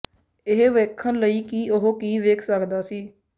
ਇਹ ਵੇਖਣ ਲਈ ਕਿ ਉਹ ਕੀ ਵੇਖ ਸਕਦਾ ਸੀ